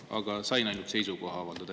Praegu sain ainult seisukoha avaldada.